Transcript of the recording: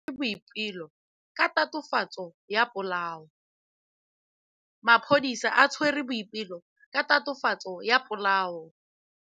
Maphodisa a tshwere Boipelo ka tatofatsô ya polaô.